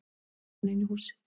æpti hann inn í húsið.